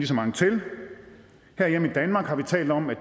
så mange til herhjemme i danmark har vi talt om at